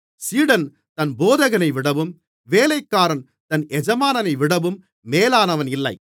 சீடன் தன் போதகனைவிடவும் வேலைக்காரன் தன் எஜமானைவிடவும் மேலானவன் இல்லை